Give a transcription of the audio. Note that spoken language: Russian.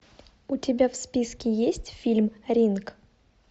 у тебя в списке есть фильм ринг